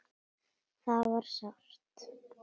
Það var sárt.